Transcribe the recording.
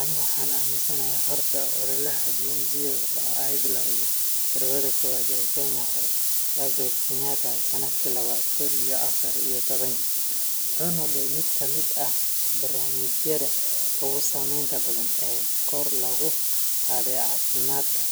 Ani waxan aminsanahay horta ololaha Beyond Zero, oo ay billowday Marwada Koowaad ee Kenya hore, Margaret Kenyatta, sannadkii labadi kun iyo afar iyo tobanki, wuxuu noqday mid ka mid ah barnaamijyada ugu saameynta badan ee kor loogu qaaday caafimaadka